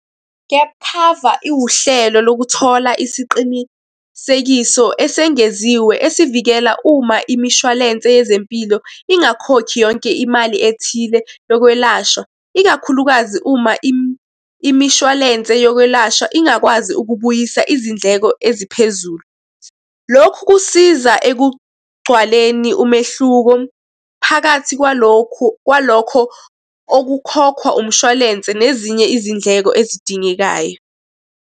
Gap cover, iwuhlelo lokuthola isiqinisekiso esengeziwe esivikela uma imishwalense yezempilo ingakhokhi yonke imali ethile yokwelashwa, ikakhulukazi uma imishwalense yokwelashwa ingakwazi ukubuyisa izindleko eziphezulu. Lokhu kusiza ekugcwaleni umehluko phakathi kwalokhu kwalokho okukhokhwa umshwalense nezinye izindleko ezidingekayo.